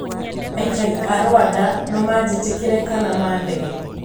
"Aikari aa Rwanda noo majitikire kana madege.